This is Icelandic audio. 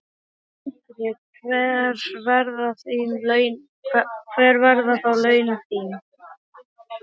Sindri: Hver verða þá laun þín?